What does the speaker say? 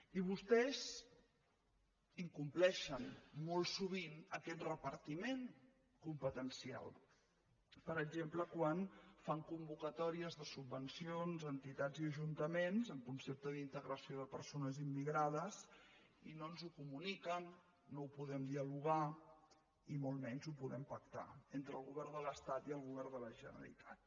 i vostès incompleixen molt sovint aquest repartiment competencial per exemple quan fan convocatòries de subvencions a entitats i ajuntaments en concepte d’integració de persones immigrades i no ens ho comuniquen no ho podem dialogar i molt menys ho podem pactar entre el govern de l’estat i el govern de la generalitat